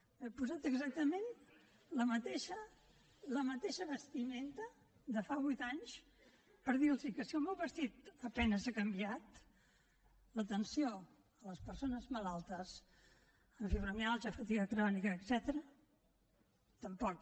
m’he posat exactament la mateixa vestimenta de fa vuit anys per dir los que si el meu vestit a penes ha canviat l’atenció a les persones malaltes amb fibromiàlgia fatiga crònica etcètera tampoc